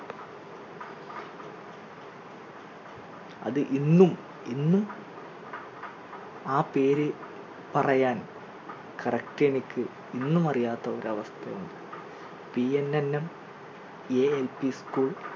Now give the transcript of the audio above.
അത് ഇന്നും ഇന്നും ആ പേര് പറയാൻ correct എനിക്ക് ഇന്നും അറിയാത്ത ഒരു അവസ്ഥ ഉണ്ട് PNNMLPschool